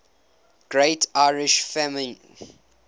great irish famine